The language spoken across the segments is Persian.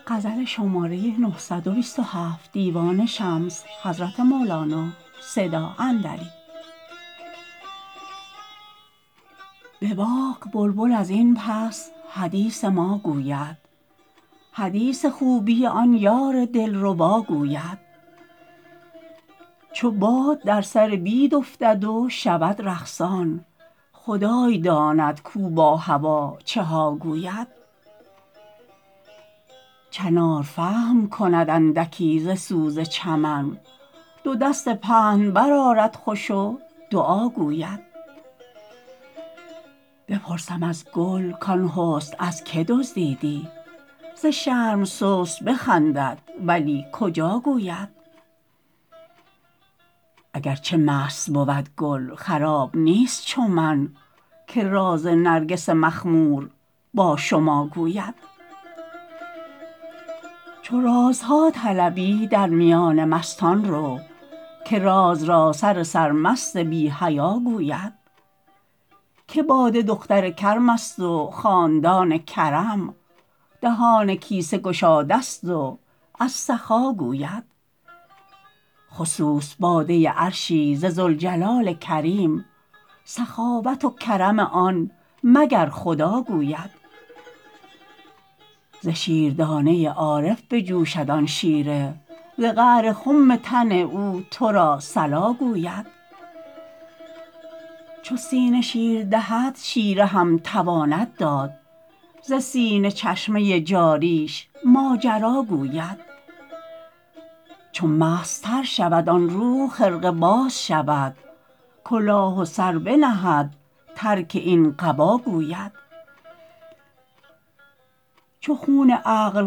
به باغ بلبل از این پس حدیث ما گوید حدیث خوبی آن یار دلربا گوید چو باد در سر بید افتد و شود رقصان خدای داند کو با هوا چه ها گوید چنار فهم کند اندکی ز سوز چمن دو دست پهن برآرد خوش و دعا گوید بپرسم از گل کان حسن از که دزدیدی ز شرم سست بخندد ولی کجا گوید اگر چه مست بود گل خراب نیست چو من که راز نرگس مخمور با شما گوید چو رازها طلبی در میان مستان رو که راز را سر سرمست بی حیا گوید که باده دختر کرمست و خاندان کرم دهان کیسه گشادست و از سخا گوید خصوص باده عرشی ز ذوالجلال کریم سخاوت و کرم آن مگر خدا گوید ز شیردانه عارف بجوشد آن شیره ز قعر خم تن او تو را صلا گوید چو سینه شیر دهد شیره هم تواند داد ز سینه چشمه جاریش ماجرا گوید چو مستتر شود آن روح خرقه باز شود کلاه و سر بنهد ترک این قبا گوید چو خون عقل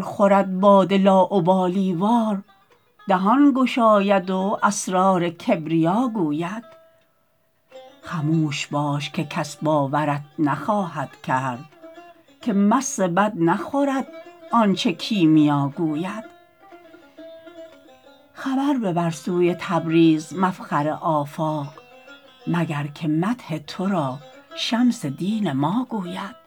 خورد باده لاابالی وار دهان گشاید و اسرار کبریا گوید خموش باش که کس باورت نخواهد کرد که مس بد نخورد آنچ کیمیا گوید خبر ببر سوی تبریز مفخر آفاق مگر که مدح تو را شمس دین ما گوید